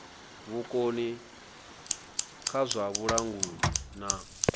vhukoni kha zwa vhulanguli na